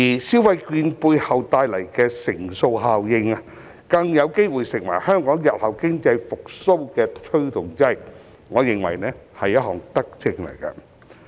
消費券背後帶來的乘數效應，更有機會成為香港日後經濟復蘇的推動劑，我認為這是一項德政。